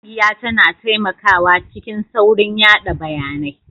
Ƙungiya tana taimakawa cikin saurin yada bayanai